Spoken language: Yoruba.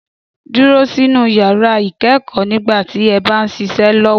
Dúró sínu yàrá ikẹ́kọ́ nígbà tí ẹ bá ń ṣiṣẹ́ lọ́wọ́.